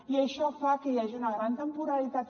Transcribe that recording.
i això fa que hi hagi una gran temporalitat